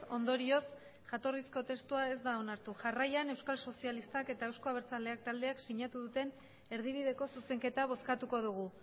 ondorioz jatorrizko testua ez da onartu jarraian euskal sozialistak eta euzko abertzaleak taldeak sinatu duten erdibideko zuzenketa bozkatuko dugu